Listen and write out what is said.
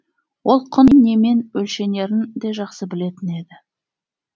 ол құн немен өлшенерін де жақсы білетін еді